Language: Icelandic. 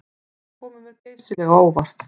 Þeir komu mér geysilega á óvart